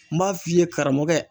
N b'a f'i ye karamɔgɔkɛ!